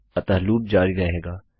अतः लूप जारी रहेगा